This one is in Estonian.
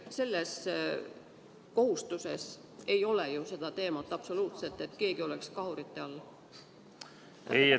Selles kohustuses ei ole ju seda teemat absoluutselt, et keegi oleks kahuritule all?